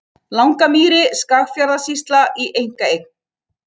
Langamýri, Skagafjarðarsýsla, í einkaeign.